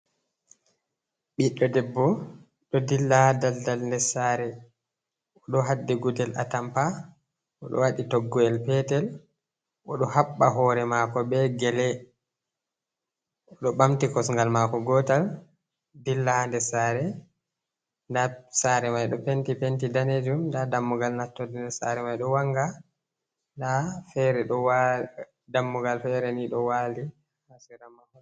Ɓiɗɗo debbo, ɗo dilla ha daldal nder sare. O ɗo haddi gudel atampa, o ɗo waɗi toggoyel petel, o ɗo haɓɓa hore mako be gele. O ɗo ɓamti kosngal maako gotal dilla ha ndes sare. Nda sare mai ɗo penti, penti daneejum. Nda dammugal nattorde sare mai ɗo wanga. Nda fere ɗo waa.. dammugal fere ni ɗo wali ha sera maako.